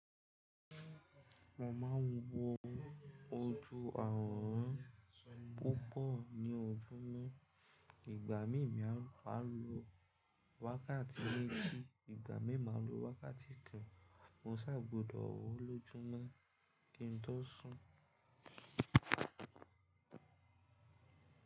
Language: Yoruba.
Mo ma ń wo ojú ààrùn púpọ̀ ní ojúmọ́. Ìgbà mìí mi máa lo wákàtí méjì, ìgbà mìí máa lo wákàtí kan. Mo ṣà gbódọ̀ rò lójúmọ́ kí n tó sùn.